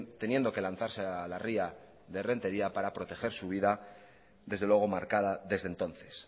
teniendo que lanzarse a la ría de rentería para proteger su vida desde luego marcada desde entonces